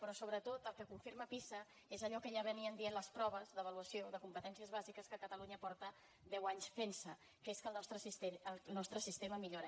però sobretot el que confirma pisa és allò que ja deien les proves d’avaluació de competències bàsiques que a catalunya fa deu anys que es fa que és que el nostre sistema millora